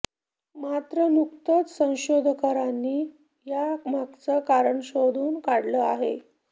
मात्र नुकतंच संशोधकांनी या मागचं कारण शोधून काढलं आहे